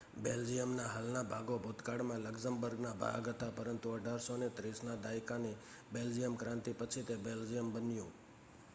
બેલ્જિયમના હાલના ભાગો ભૂતકાળમાં લક્ઝમબર્ગના ભાગ હતા પરંતુ 1830ના દાયકાની બેલ્જિયમક્રાંતિ પછી તે બેલ્જિયમ બન્યું